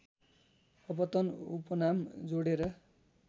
अपतन उपनाम जोडेर